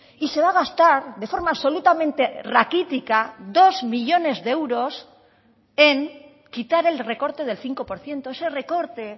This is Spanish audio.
y se va a gastar de forma absolutamente raquítica dos millónes de euros en quitar el recorte del cinco por ciento ese recorte